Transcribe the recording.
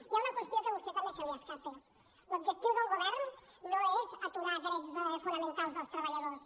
hi ha una qüestió que a vostè també se li escapa l’objectiu del govern no és aturar drets fonamentals dels treballadors